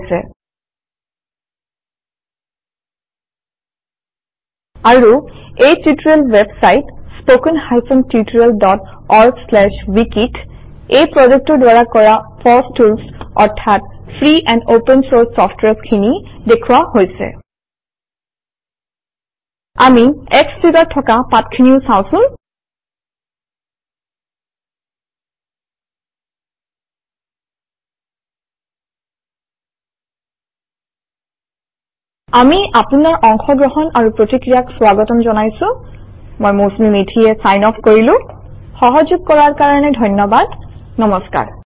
দিয়া হৈচে আৰু এই টিউতৰিয়েল ৱেবচাইত স্পোকেন টিউতৰিয়েলঅৰ্গৱিকি আমি ফচ তূল্চ অৰ্থাত খামগ্ৰি খিনি দেখুয়া হৈচে আমি এক্স ফিগাৰ থকা পাথখিনিউ চাউচুন আমি অপুনাৰ অন্শগ্ৰহন আৰু প্ৰতিক্ৰিয়া স্ৱাগতম জনাইচু মই মৌচুমি মেধি চাইন অফ কৰিচু সহযোগ কৰাৰ কাৰনে ধন্য়বাদ নমস্কাৰ